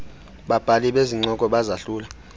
babhali bezincoko bazahlula